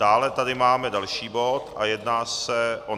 Dále tady máme další bod a jedná se o